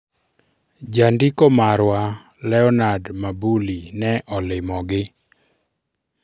Jandiko marwa Leonard Mabuli ne olimogi.